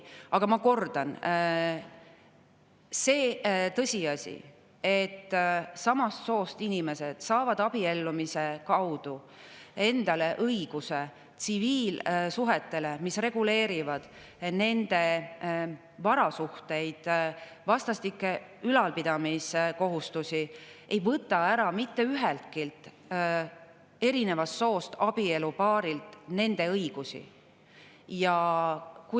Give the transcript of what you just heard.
Aga ma kordan: see tõsiasi, et samast soost inimesed saavad abiellumise kaudu endale selle õiguse, et tsiviilsuhted reguleerivad nende varasuhteid ja vastastikuseid ülalpidamiskohustusi, ei võta mitte üheltki erinevast soost abielupaarilt nende õigusi ära.